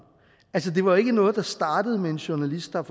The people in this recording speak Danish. altså det var ikke noget der startede med en journalist der